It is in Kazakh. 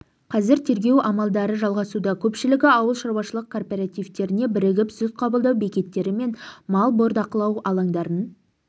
қазір тергеу амалдары жалғасуда көпшілігі ауыл шаруашылық кооперативтеріне бірігіп сүт қабылдау бекеттері мен мал бордақылау алаңдарын